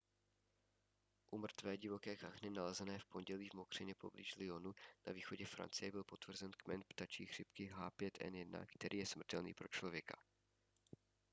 u mrtvé divoké kachny nalezené v pondělí v mokřině poblíž lyonu na východě francie byl potvrzen kmen ptačí chřipky h5n1 který je smrtelný pro člověka